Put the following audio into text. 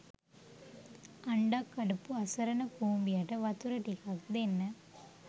අන්ඩක් කඩපු අසරණ කුඹියට වතුර ටිකක් දෙන්න